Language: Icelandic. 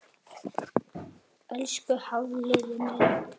Elsku Hafliði minn.